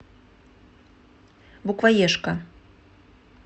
букваешка